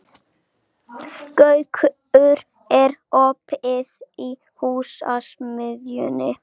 Gaukur, er opið í Húsasmiðjunni?